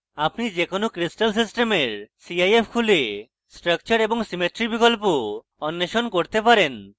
আপনি যে কোনো crystal সিস্টেমের cif খুলে structure এবং symmetry বিকল্প অন্বেষণ করতে পারেন